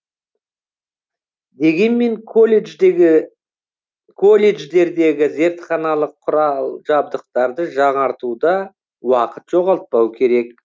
дегенмен колледждегі колледждердегі зертханалық құрал жабдықтарды жаңартуда уақыт жоғалтпау керек